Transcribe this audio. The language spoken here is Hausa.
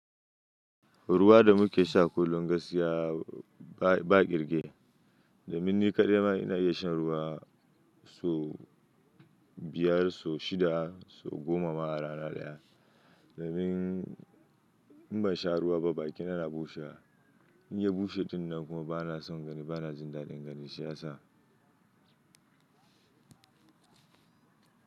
Ruwa da muke sha kullum gaskiya ba, ba ƙirge. Da min ni kaɗai ma, ina iya shan ruwa sau biyar, sau shida, sau goma ma a rana ɗaya. Do min in ban sha ruwa ba bakina na bushe. In ya bushe tunnan kuma bana son gani bana jin daɗin gani shi yasa.